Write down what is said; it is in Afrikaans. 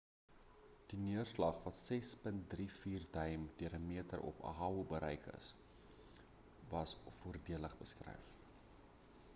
die neerslag wat 6.34 duim deur 'n meter op oahu bereik het was as voordelig beskryf